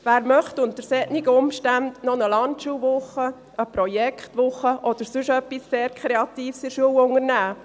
Wer möchte unter solchen Umständen noch eine Landschulwoche, eine Projektwoche oder sonst etwas sehr Kreatives in der Schule durchführen?